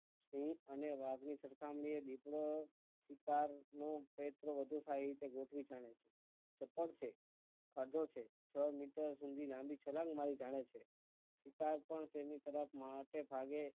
સિંહ અને વાઘ ની સરખામણી એ દીપડો શિકારનું ચપળ છે કાઢો છે છ મીટર સુધી લાંબી છલાંગ મારી જાણે છે શિકાર પણ તેની તરાપ મારતા ભાગે